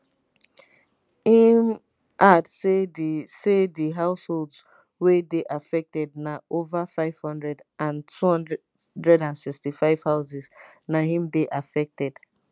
im add say di say di households wey dey affected na ova 500 and 265 houses na im dey affected